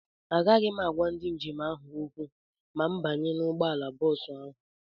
Agaghị m agwa ndị njem ahụ okwu ma m banye n'ụgbọala bọọsụ ahụ.